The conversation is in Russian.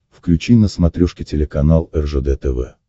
включи на смотрешке телеканал ржд тв